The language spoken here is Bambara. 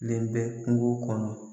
Len bɛ kungo kɔnɔ.